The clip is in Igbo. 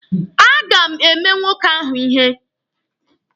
A ga m eme nwoke ahụ ihe.